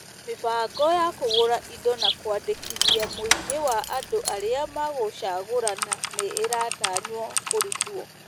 Mĩbango ya kũgũra indo na kwandĩkithia mũingĩ wa andũ arĩa megũcagũrana nĩ ĩratanywo kũrutwo.